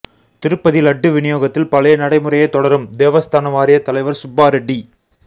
திருப்பதி லட்டு விநியோகத்தில் பழைய நடைமுறையே தொடரும் தேவஸ்தான வாரியத் தலைவா் சுப்பா ரெட்டி